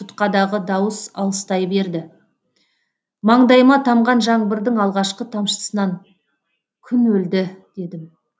тұтқадағы дауыс алыстай берді маңдайыма тамған жаңбырдың алғашқы тамшысынан күн өлді дедім